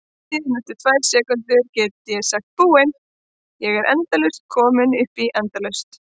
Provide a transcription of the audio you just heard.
Síðan eftir tvær sekúndur geturðu sagt Búin, ég er komin upp í endalaust!